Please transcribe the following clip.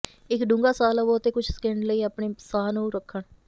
ਇੱਕ ਡੂੰਘਾ ਸਾਹ ਲਵੋ ਅਤੇ ਕੁਝ ਸਕਿੰਟ ਲਈ ਆਪਣੇ ਸਾਹ ਨੂੰ ਰੱਖਣ